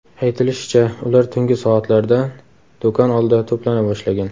Aytilishicha, ular tungi soatlardan do‘kon oldida to‘plana boshlagan.